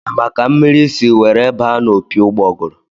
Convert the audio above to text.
A ma ka mmiri si were baa n'opi ụgbọgụrụ?